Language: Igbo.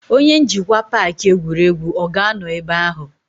Onye njikwa paaki egwuregwu ọ ga-anọ ebe ahụ?